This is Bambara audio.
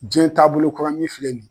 Jiɲɛ taabolo kura min filɛ nin ye